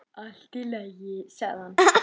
Allt í lagi, sagði hann.